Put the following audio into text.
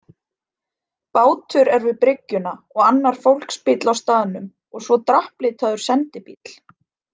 Bátur er við bryggjuna og annar fólksbíll á staðnum og svo drapplitaður sendibíll.